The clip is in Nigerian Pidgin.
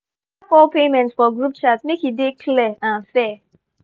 we dey track all payment for group chat make e dey clear and fair